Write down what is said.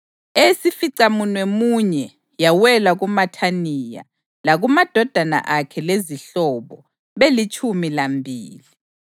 eyesificamunwemunye yawela kuMathaniya, lakumadodana akhe lezihlobo, belitshumi lambili;